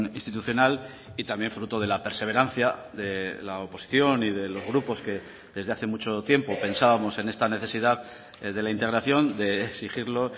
institucional y también fruto de la perseverancia de la oposición y de los grupos que desde hace mucho tiempo pensábamos en esta necesidad de la integración de exigirlo